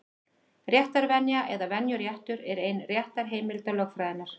Réttarvenja, eða venjuréttur, er ein réttarheimilda lögfræðinnar.